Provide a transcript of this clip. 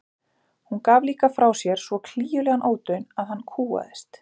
Hún gaf líka frá sér svo klígjulegan ódaun að hann kúgaðist.